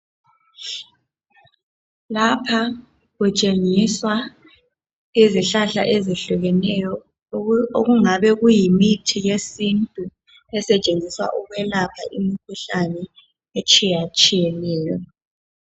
Lapha kutshengiswa izihlahla ezihlukeneyo okungabe kuyimithi yesintu esetshenziswa ukulapha imikhuhlane etshiyeneyo.